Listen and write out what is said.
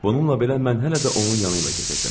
Bununla belə, mən hələ də onun yanıyla gedirdim.